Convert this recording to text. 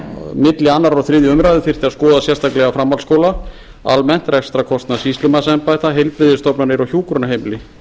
milli annars og þriðja umræða þyrfti að skoða sérstaklega framhaldsskóla almennt rekstrarkostnað sýslumannsembætta heilbrigðisstofnanir og hjúkrunarheimili